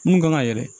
Mun kan ka yɛlɛ